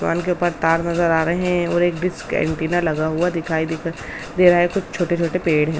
दुकान के ऊपर तार नजर आ रहे हैं और एक डिश का एंटीना लगा हुआ दिखाई देख दे रहा है और कुछ छोटे छोटे पेड़ हैं ।